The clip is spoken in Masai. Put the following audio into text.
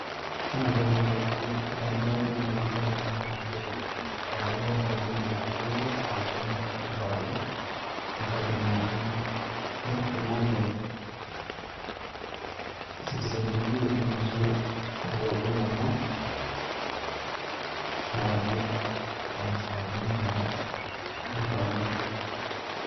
Ore entoki nalotu in`damunot ainei tenadol ena naa nchere etabawua enkolong e jumatano saa uni enkewarie, enkata oshi natii Jeff Koinange citizen TV ainosu ilomon kewarie aa saa uni taa e nkewarie.